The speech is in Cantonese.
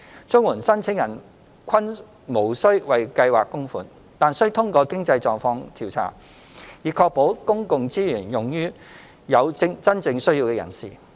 綜援申請人均無須為計劃供款，但須通過經濟狀況調查，以確保公共資源用於有真正需要的人士。